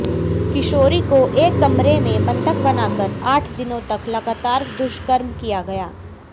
किशोरी को एक कमरे में बंधक बनाकर आठ दिनों तक लगातार दुष्कर्म किया गया